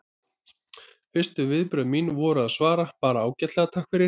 Fyrstu viðbrögð mín voru að svara bara: Ágætlega, takk fyrir